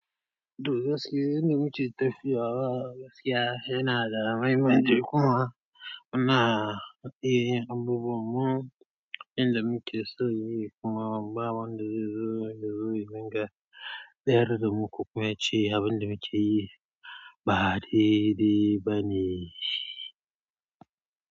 Toh gaskye, inda muke tafiya wa gaskiya yana da mahimmanci kuma muna iya yin abubuwan mu inda muke so yi kuma ba wan da zai zo yazo yadinga. Da yardar mu, ko kuma ya ce abin da muke yi ba daɗe ba ne.